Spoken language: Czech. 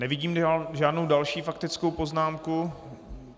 Nevidím žádnou další faktickou poznámku.